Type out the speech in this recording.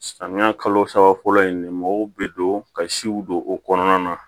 Samiya kalo saba fɔlɔ in mɔgɔw be don ka siw don o kɔnɔna na